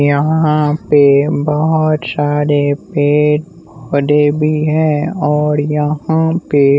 यहाँ पे बहुत सारे पेड़ पौधे भी हैं और यहाँ पे--